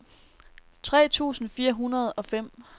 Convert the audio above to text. tre tusind fire hundrede og fem